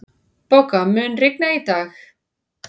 Bogga, mun rigna í dag?